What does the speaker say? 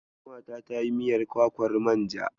Ƙanwata ta yi miyar kwakwar manja.